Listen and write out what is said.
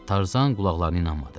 Tarzan qulaqlarına inanmadı.